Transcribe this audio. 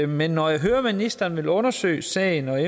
men når jeg hører at ministeren vil undersøge sagen og at